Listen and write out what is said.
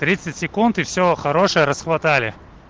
тридцать секунд и все хорошее расхватали